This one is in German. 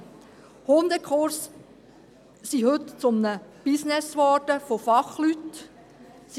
Hundekurse sind heute zu einem Business von Fachleuten geworden.